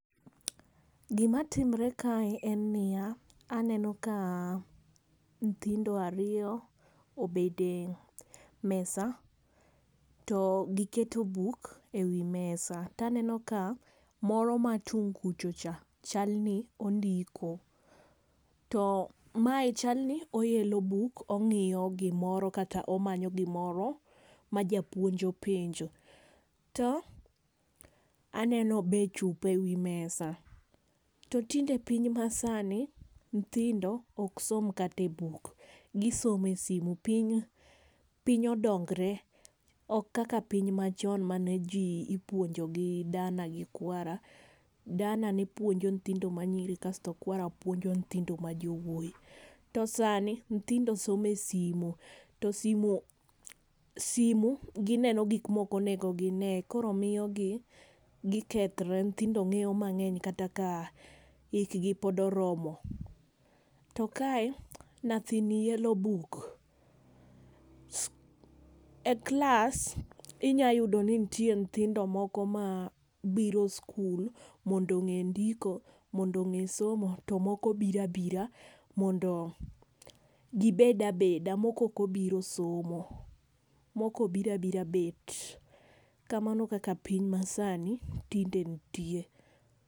Gi ma timre kae en ni ya, aneno ka nyithindo ariyo obet e mesa to gi keto buk e wi mesa to aneno ka moro man tung kucha chal ni ondiko to mae chal ni oelo buk ongiyo kata chal ni omanyo gimoro ma japuonj openjo. To be aneno be chupa e wi mesa. To tinde piny ma sani nyithindo ok som kata e buk gi somo e simo piny piny odongre ok kaka piny ma chon ma n ji ipuonjo gi dana gi kwara, dana puonjo nyithindo manyiri kasto kwara puonjo nyithindo ma jowuoyi. To sani nyithindo somo e simo to simo simu gi en gik ma ok onego gi nee koro miyo gi gi kethre nyithindo ngeyo mangeny kata ka hik gi pod oromo. To ka e nyathini yelo buk, e klas inya yudo ni nitie nyithindo ma biro e skul mondo onge ndiko, onge somo to moko biro abira mondo gi bed abeda moko ok obiro somo moko obiro abira bet. Kamano kaka piny ma sani tinde nitie.